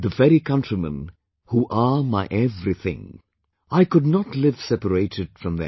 The very countrymen who are my everything,... I could not live separated from them